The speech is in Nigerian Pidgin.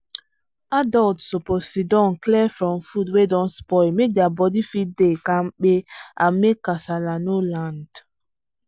adults suppose sidon clear from food wey don spoil make their body fit dey kampe and make kasala no land